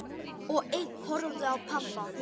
Og ein horfði á pabba.